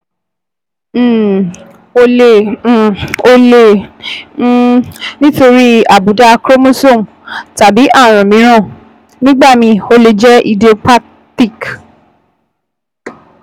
um Ó lè um Ó lè jẹ́ um nítorí àbùdá chromosome tàbí ààrùn mìíràn, nígbà míì ó lè jẹ́ idiopathic